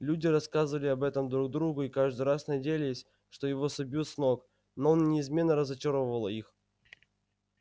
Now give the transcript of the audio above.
люди рассказывали об этом друг другу и каждый раз надеялись что его собьют с ног но он неизменно разочаровывал их